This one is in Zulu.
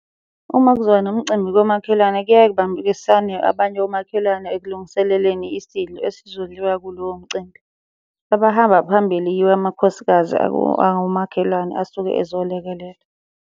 Uma kuzoba nomcimbi komakhelwane kuyeke kubambiswane abanye omakhelwane ekulungiseleleni isidlo esizodliwa kulowo mcimbi. Abahamba phambili yiwo amakhosikazi angomakhelwane asuke ezolekelela.